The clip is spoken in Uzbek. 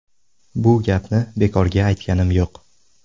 Bu gapni bekorga aytganim yo‘q.